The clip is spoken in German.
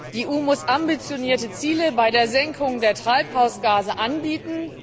Die EU muss ambitionierte Ziele bei der Senkung der Treibhausgase anbieten.